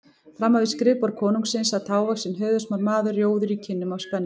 Framan við skrifborð konungsins sat hávaxinn höfuðsmár maður, rjóður í kinnum af spennu.